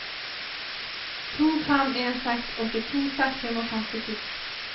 to fem en seks åttito seks hundre og femtito